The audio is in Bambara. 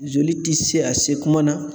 Zoli ti se a se kuma na